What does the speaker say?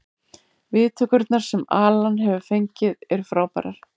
Viðtökurnar sem Alan hefur fengið eru frábærar.